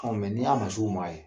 Aw n'i y'a ma s'u ma yen